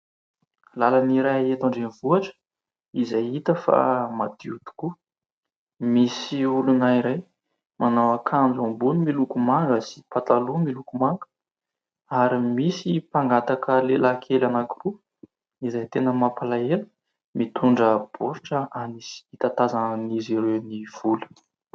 Lalana iray eto an-drenivohitra izay hita fa madio tokoa. Misy olona iray manao akanjo ambony miloko manga sy pataloha miloko manga ; ary misy mpangataka lehilahy kely anankiroa izay tena mampalahelo, mitondra baoritra hitatazan'izy ireo ny vola.